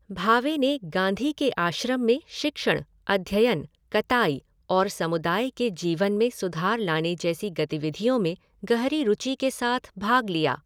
भावे ने गांधी के आश्रम में शिक्षण, अध्ययन, कताई और समुदाय के जीवन में सुधार लाने जैसी गतिविधियों में गहरी रुचि के साथ भाग लिया।